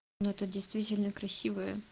это действительно красивое